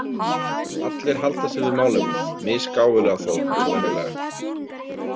Allir halda sig við málefnið, misgáfulega þó eins og venjulega.